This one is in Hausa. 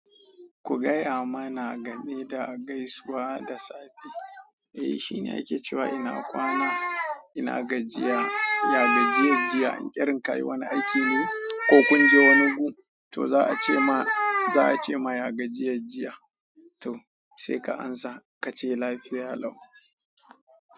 Ku gaya mana game da gaisuwa da safe. Eh shine yake cewa ina kwana, ina gajiya, ya gajiyan jiya. Irin ka yi wani aiki ne ko kun je wani gu, to za a ce ma, za a ce ma ya gajiye jiya. To sai ka amsa ka ce lafiya lau.